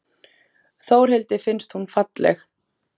Þórhildi finnst hún falleg.